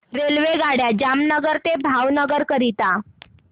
रेल्वेगाड्या जामनगर ते भावनगर करीता